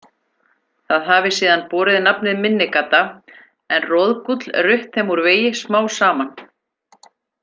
Það hafi síðan borið nafnið Minni-Gata en Roðgúll rutt þeim úr vegi smám saman.